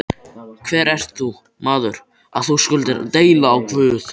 Hver ert þú, maður, að þú skulir deila á Guð?